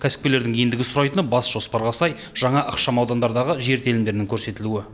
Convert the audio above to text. кәсіпкерлердің ендігі сұрайтыны бас жоспарға сай жаңа ықшам аудандардағы жер телімдерінің көрсетілуі